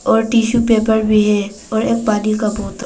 और tissue paper भी है और एक पानी का बोतल--